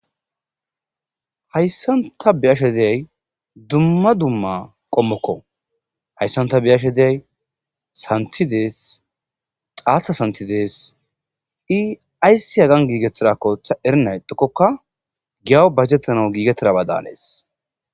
Hayssan ta beyashe diyay dumma dumma qommokko hayssan ta beyashe diyay sanththi dees xaata sanththi dees ii ayssi hagan giigettidakko ta erenna ixxikkokka giyaw bayzettanaw giigettidabada haanees